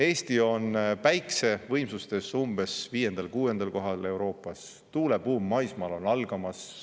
Eesti on päikese võimsustes umbes viiendal-kuuendal kohal Euroopas, tuulebuum maismaal on algamas.